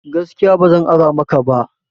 Gaskiya ba zan ara maka ba